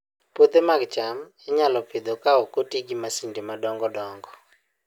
Puothe mag cham inyalo Pidho ka ok oti gi masinde madongo dongo